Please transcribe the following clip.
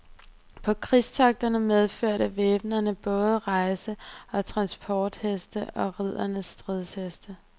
På krigstogterne medførte væbnerne både rejse og transportheste og riddernes stridsheste.